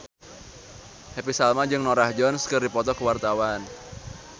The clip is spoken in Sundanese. Happy Salma jeung Norah Jones keur dipoto ku wartawan